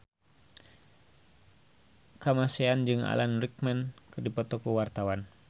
Kamasean jeung Alan Rickman keur dipoto ku wartawan